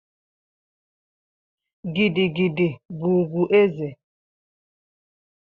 Gidi gidi bụ ugwu eze.